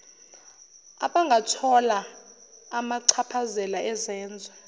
abangathola amachaphazela ezenzo